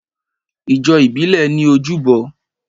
Ìjọsìn ìbílẹ̀ ní ojúbọ